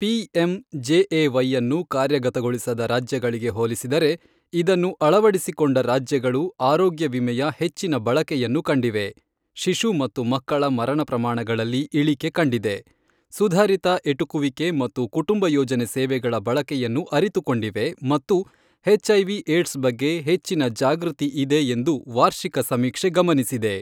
PM ಜೆಎವೈಅನ್ನು ಕಾರ್ಯಗತಗೊಳಿಸದ ರಾಜ್ಯಗಳಿಗೆ ಹೋಲಿಸಿದರೆ, ಇದನ್ನು ಅಳವಡಿಸಿಕೊಂಡ ರಾಜ್ಯಗಳು ಆರೋಗ್ಯ ವಿಮೆಯ ಹೆಚ್ಚಿನ ಬಳಕೆಯನ್ನು ಕಂಡಿವೆ, ಶಿಶು ಮತ್ತು ಮಕ್ಕಳ ಮರಣ ಪ್ರಮಾಣಗಳಲ್ಲಿ ಇಳಿಕೆ ಕಂಡಿದೆ, ಸುಧಾರಿತ ಎಟುಕುವಿಕೆ ಮತ್ತು ಕುಟುಂಬ ಯೋಜನೆ ಸೇವೆಗಳ ಬಳಕೆಯನ್ನು ಅರಿತುಕೊಂಡಿವೆ ಮತ್ತು ಎಚ್ಐವಿ ಏಡ್ಸ್ ಬಗ್ಗೆ ಹೆಚ್ಚಿನ ಜಾಗೃತಿ ಇದೆ ಎಂದು ವಾರ್ಷಿಕ ಸಮೀಕ್ಷೆ ಗಮನಿಸಿದೆ.